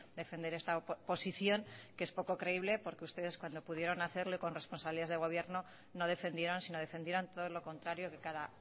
defender esta posición que es poco creíble porque ustedes cuando pudieron hacerlo y con responsabilidades de gobierno no defendieron sino defendieron todo lo contrario que cada